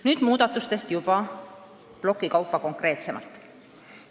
Nüüd muudatustest juba plokkide kaupa konkreetsemalt.